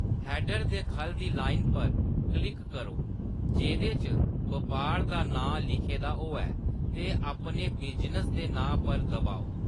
Header दे खʼल्ल दी लाइन पर क्लिक करो जेह्‌‌‌दे च बपार दा नांऽ लिखे दा हो'वै ते अपने बिजनेस दे नांऽ पर दबाओ।